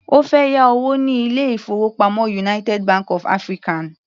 Ó fẹ́ yá owó ní ilé-ìfowópamọ́ United Bank of African.